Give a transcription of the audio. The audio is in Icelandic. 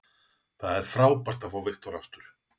Það er frábært að fá Viktor aftur.